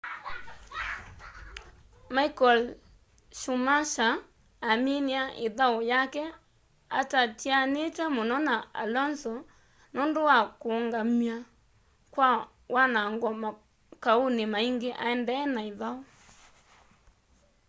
michael schumacher aminie ithau yake atatianite muno na alonso nundu wa kuungamw'a kwa wanango makauni maingi aendee na ithau